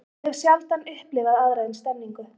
Ég hef sjaldan upplifað aðra eins stemningu.